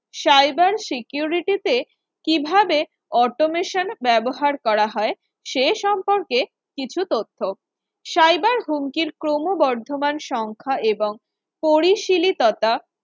cyber security তে কিভাবে Automation ব্যবহার করা হয় সেই সম্পর্কে কিছু তথ্য cyber হুমকি ক্রমবর্ধমান সংখ্যা এবং পরিশেলি তথা